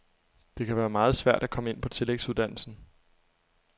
Det kan være meget svært at komme ind på tillægsuddannelsen.